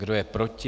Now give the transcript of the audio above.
Kdo je proti?